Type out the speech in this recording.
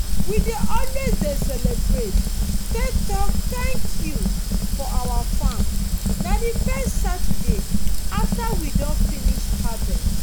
we dey always dey celebrate take talk 'thank you' for our farm. na the first saturday after we don finish harvest.